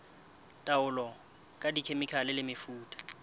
taolo ka dikhemikhale le mefuta